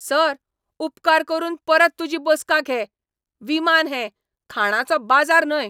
Sir, उपकार करून परत तुजी बसका घे. विमान हें, खाणांचो बाजार न्हय!